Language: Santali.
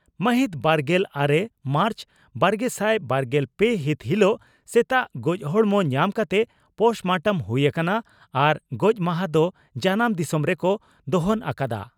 ᱢᱟᱦᱤᱛ ᱵᱟᱨᱜᱮᱞ ᱟᱨᱮ ᱢᱟᱨᱪ ᱵᱟᱨᱜᱮᱥᱟᱭ ᱵᱟᱨᱜᱮᱞ ᱯᱮ ᱦᱤᱛ ᱦᱤᱞᱚᱜ ᱥᱮᱛᱟᱜ ᱜᱚᱡᱽ ᱦᱚᱲᱢᱚ ᱧᱟᱢ ᱠᱟᱛᱮ ᱯᱚᱥᱴᱢᱚᱴᱚᱢ ᱦᱩᱭ ᱟᱠᱟᱱᱟ ᱟᱨ ᱜᱚᱡᱽᱢᱟᱦᱟ ᱫᱚ ᱡᱟᱱᱟᱢ ᱫᱤᱥᱚᱢ ᱨᱮᱠᱚ ᱫᱚᱦᱚᱱ ᱟᱠᱟᱫᱼᱟ ᱾